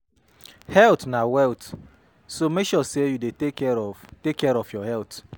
Health na wealth so mek sure say yu dey take care of care of your health